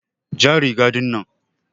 ja riga ɗinnan.